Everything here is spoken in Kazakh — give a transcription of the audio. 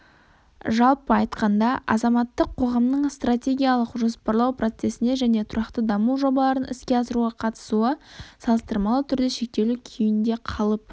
жалпы айтқанда азаматтық қоғамның стратегиялық жоспарлау процесіне және тұрақты даму жобаларын іске асыруға қатысуы салыстырмалы түрде шектеулі күйінде қалып